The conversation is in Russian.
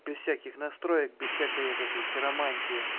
без всяких настроек без всякой вот этой хиромантии